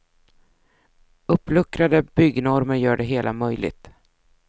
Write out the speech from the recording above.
Uppluckrade byggnormer gör det hela möjligt.